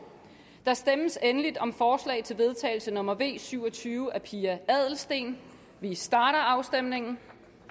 der stemmes endelig om forslag til vedtagelse nummer v syv og tyve af pia adelsteen vi starter afstemningen